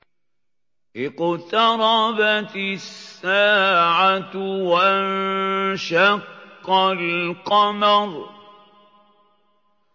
اقْتَرَبَتِ السَّاعَةُ وَانشَقَّ الْقَمَرُ